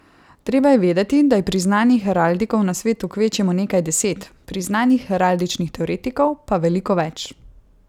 Treba je vedeti, da je priznanih heraldikov na svetu kvečjemu nekaj deset, priznanih heraldičnih teoretikov pa veliko več.